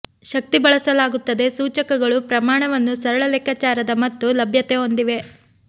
ಶಕ್ತಿ ಬಳಸಲಾಗುತ್ತದೆ ಸೂಚಕಗಳು ಪ್ರಮಾಣವನ್ನು ಸರಳ ಲೆಕ್ಕಾಚಾರದ ಮತ್ತು ಲಭ್ಯತೆ ಹೊಂದಿವೆ